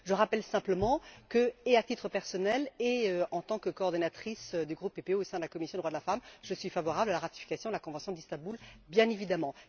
Je rappelle simplement que, à la fois à titre personnel et en tant que coordinatrice du groupe PPE au sein de la commission des droits de la femme, je suis favorable à la ratification de la convention d'Istanbul, bien évidemment.